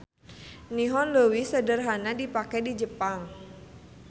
Nihon leuwih sederhana dipake di Jepang.